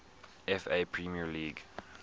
fa premier league